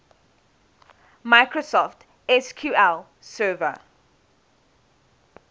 microsoft sql server